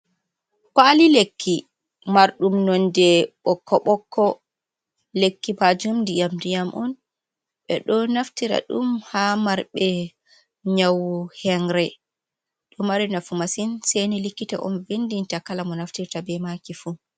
Kwali lekki marɗum nonde ɓokko ɓokko, lekki majum ndiyam-ndiyam on, ɓe ɗo naftira ɗum ha marɓe nyawu hengre ɗo mari nafu masin seni likkita on vindinte kala mo naftirta be maki fu.